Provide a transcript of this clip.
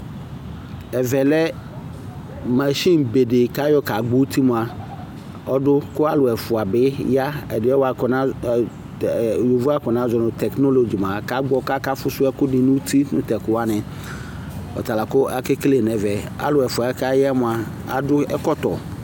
ɛvɛ lɛ machine bɛ di kʋ agbɔ ʋti mʋa ɔdʋ kʋ alʋ ɛƒʋa bi ya, ɛdiniɛ bʋakʋ yɔvɔ aƒɔna zɔnʋ technology aka gbɔ kʋ aka ƒʋsʋ ɛkʋ nʋ ʋti nʋ tɛkʋ wani, ɔtala kʋ akɛkɛlɛ nʋ ɛmɛ, alʋɛ ɛƒʋɛ mʋa adʋ ɛkɔtɔ